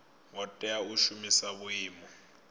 ngo tea u shumisa vhuimo